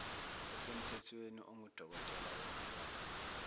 osemthethweni ongudokotela wezilwane